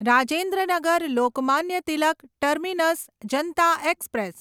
Rajendra Nagar Lokmanya Tilak terminus Janata express